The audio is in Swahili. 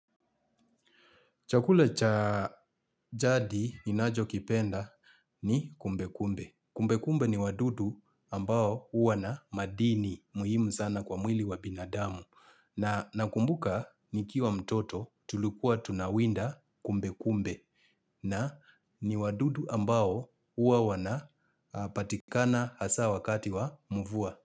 Chakula cha jadi ninachokipenda ni kumbekumbe. Kumbekumbe ni wadudu ambao huwa na madini muhimu sana kwa mwili wa binadamu. Na nakumbuka nikiwa mtoto tulikuwa tunawinda kumbekumbe. Na ni wadudu ambao huwa wana patikana hasa wakati wa mvua.